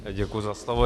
Děkuji za slovo.